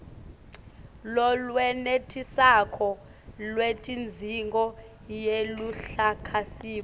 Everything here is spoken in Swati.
lolwenetisako lwetidzingo yeluhlakasimo